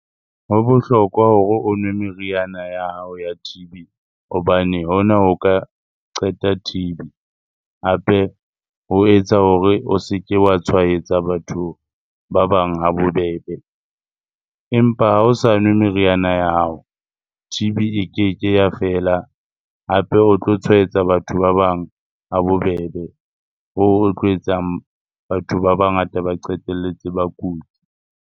Ho bohlokwa hore o nwe meriana ya hao ya T_B hobane hona ho ka qeta T_B. Hape ho etsa hore o se ke wa tshwaetsa batho ba bang ha bobebe. Empa ha o sa nwe meriana ya hao, T_B e keke ya fela hape o tlo tshwaetsa batho ba bang ha bobebe. Hoo ho tlo etsang batho ba bangata ba qetelletse ba kutse.